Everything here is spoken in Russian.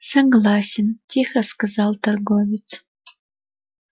согласен тихо сказал торговец